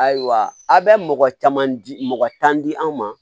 Ayiwa a bɛ mɔgɔ caman di mɔgɔ tan di an ma